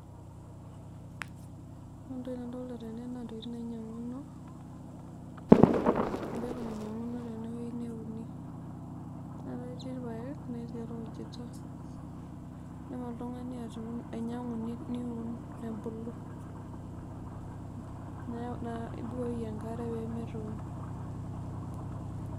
Ore entoki nadolta tene na ntokitin nainyanguno ,embeku nainyanguno tenewueji neuni, na keti rpaek netii orkujita, nelo oltungani ainyangu niun nebulu, neaku nibukoki enkare pemetoyu.